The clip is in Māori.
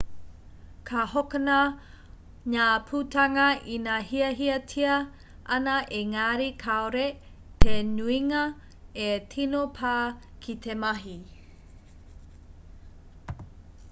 ka hokona ngā putanga ina hiahiatia ana ēngari kāore te nuinga e tino pā ki te mahi